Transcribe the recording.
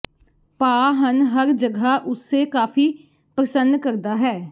ਭਾਅ ਹਨ ਹਰ ਜਗ੍ਹਾ ਉਸੇ ਕਾਫ਼ੀ ਪ੍ਰਸੰਨ ਕਰਦਾ ਹੈ